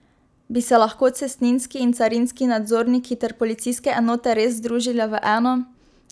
Bi se lahko cestninski in carinski nadzorniki ter policijske enote res združile v eno?